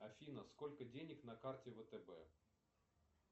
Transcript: афина сколько денег на карте втб